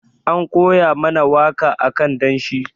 An koya mana waka akan danshi.